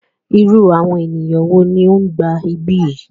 Irú àwọn ènìyàn wo ní o ń gba ibí yìí?